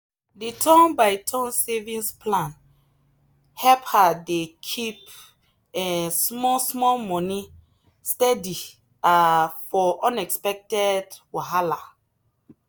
the turn by turn savings plan help her dey keep um small small money steady um for unexpected wahala.